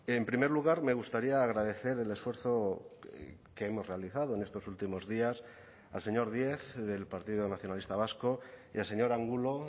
en primer lugar me gustaría agradecer el esfuerzo que hemos realizado en estos últimos días al señor díez del partido nacionalista vasco y al señor angulo